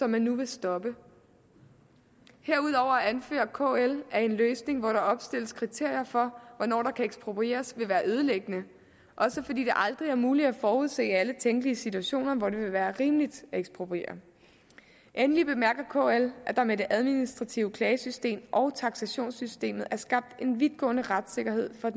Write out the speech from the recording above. man nu stoppe herudover anfører kl at en løsning hvor der opstilles kriterier for hvornår der kan eksproprieres vil være ødelæggende også fordi det aldrig er muligt at forudse alle tænkelige situationer hvor det vil være rimeligt at ekspropriere endeligt bemærker kl at der med det administrative klagesystem og taksationssystemet er skabt en vidtgående retssikkerhed for